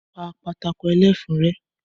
Pa pátákó ẹlẹ́fun rẹ́!